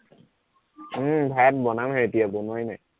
উম ভাত বনামহে এতিয়া বনোৱাই নাই